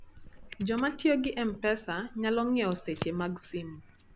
Joma tiyo gi M-Pesa nyalo ng'iewo seche mag simo.